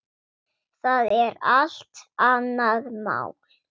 Það er allt annað mál.